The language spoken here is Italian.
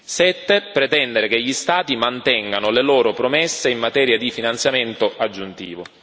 7 pretendere che gli Stati mantengano le loro promesse in materia di finanziamento aggiuntivo.